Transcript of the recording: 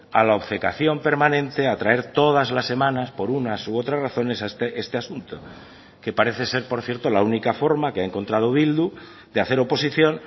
a la obcecación permanente a traer todas las semanas por unas u otras razones este asunto que parece ser por cierto la única forma que ha encontrado bildu de hacer oposición